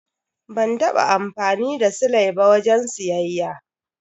Ban taba amfani da sile ba wajen siyayya.